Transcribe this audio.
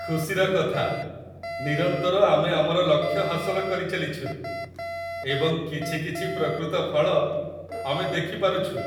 ଖୁସିର କଥା, ନିରନ୍ତର ଆମେ ଆମର ଲକ୍ଷ୍ୟ ହାସଲ କରିଚାଲିଛୁ, ଏବଂ କିଛି କିଛି ପ୍ରକୃତ ଫଳ ଆମେ ଦେଖିପାରୁଛୁ।